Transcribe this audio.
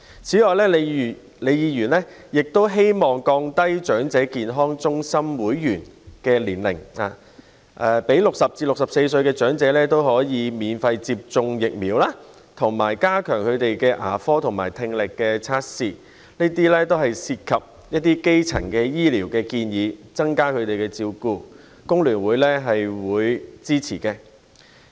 此外，李議員亦建議降低申請成為長者健康中心會員的年齡、讓60歲至64歲長者免費接種疫苗，以及加強牙科和聽力服務，這些都是涉及基層醫療的建議，增加對長者的照顧，工聯會會支持。